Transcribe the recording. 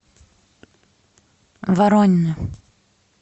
воронины